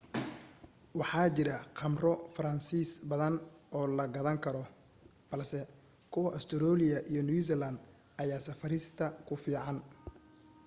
waxa jira khamro faransiis badan oo la qaadan karo balse kuwa ustareeliya iyo new zealand ayaa safarista ku fiican